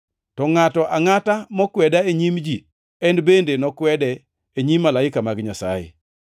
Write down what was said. To ngʼato angʼata mokweda e nyim ji en bende nokwede e nyim malaike mag Nyasaye.